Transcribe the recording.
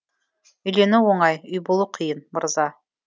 үйлену оңай үй болу қиын мырза